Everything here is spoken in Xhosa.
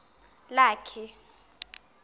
lakhe